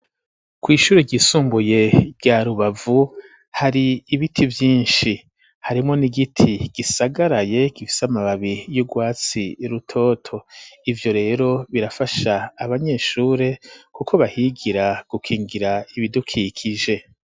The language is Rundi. kw'ishuri ryisumbuye rya rubavu hari ibiti vyinshi harimwo n'igiti gisagaraye gifise amababi y'urwatsi rutoto, ivyo rero birafasha abanyeshure kuko bahigira gukingira ibidukikije.